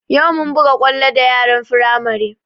Yau mun buga kwallo da yaran Firamare